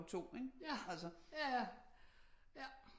2 ikke altså